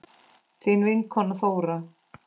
Þín vinkona Þóra.